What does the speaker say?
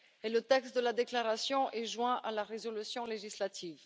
Le texte de la déclaration est joint à la résolution législative.